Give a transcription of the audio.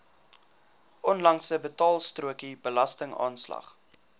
onlangse betaalstrokie belastingaanslag